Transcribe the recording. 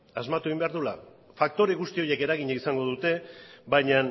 asmatu egin behar duela faktore guzti horiek eragina izango dute baina